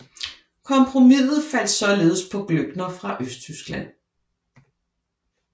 Kompromiset faldt således på Glöckner fra Østtyskland